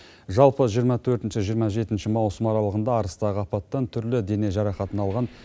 жалпы жиырма төртінші жиырма жетінші маусым аралығында арыстағы апаттан түрлі дене жарақатын алған